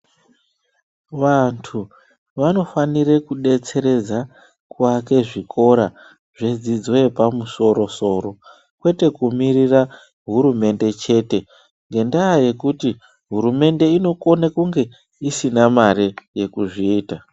Vantu vanofanire kudetseredza kuake zvikora zvedzidzo yepamusoro soro kwete kumirira hurumende chete ngendaya yekuti hurumende inokone kunge isisna mare yekuzviita.